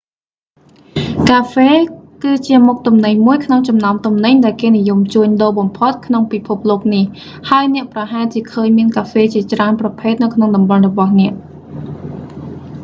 កាហ្វេ គឺជាមុខទំនិញមួយក្នុងចំណោមទំនិញ ដែលគេនិយមជួញដូរបំផុតក្នុងពិភពលោកនេះ ហើយអ្នកប្រហែលជាឃើញមានកាហ្វេជាច្រើនប្រភេទនៅក្នុងតំបន់របស់អ្នក